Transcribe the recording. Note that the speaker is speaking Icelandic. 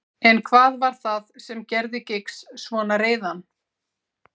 En hvað var það sem gerði Giggs svona reiðan?